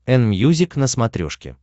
энмьюзик на смотрешке